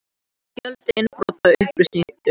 Fjöldi innbrota upplýstur